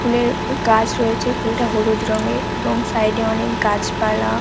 ফুলের গাছ রয়েছে ফুলটা হলুদ রঙের এবং সাইড এ অনেক গাছপালা।